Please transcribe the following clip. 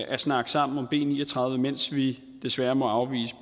at snakke sammen om b ni og tredive mens vi desværre må afvise